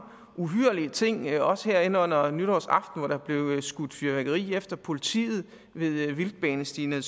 uhyrlige ting også her hen under nytårsaften hvor der blev skudt fyrværkeri af efter politiet ved vildtbanestien ved